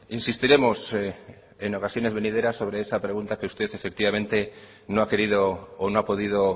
insistiremos en ocasiones venideras sobre esa pregunta que usted efectivamente no ha querido o no ha podido